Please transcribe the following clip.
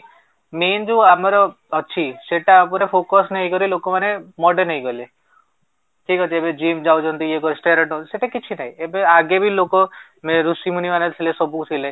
main ଯୋଉ ଆମର ଅଛି ସେଟା ଉପରେ focus ନେଇକରି ଲୋକ ମାନେ modern ହେଇଗଲେ ଠିକ ଅଛି ଏବେ ଜିମ ଯାଉଛନ୍ତି ଇଏ କରୁଛନ୍ତି steroid ସେଟା କିଛି ନାହିଁ ଏବେ ଆଗେ ବି ଲୋକ ରୂଷି ମୁନୀ ମାନେ ସବୁ ଥିଲେ